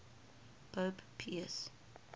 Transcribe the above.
pope pius